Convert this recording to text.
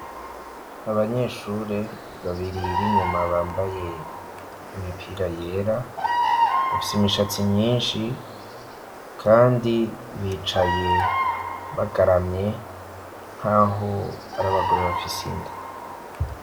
Abanyeshure babiri ,b'inyuma bambaye imipira yera ,bafise imishatsi myinshi, kandi bicaye bagaramye nk'aho ari abagore bafise inda.